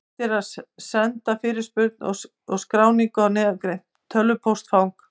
Hægt er að senda fyrirspurnir og skráningu á neðangreint tölvupóstfang.